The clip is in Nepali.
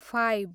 फाइब